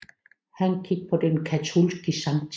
Han gik på den katolske Sct